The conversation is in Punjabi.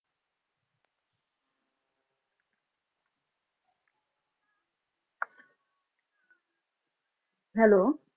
Hello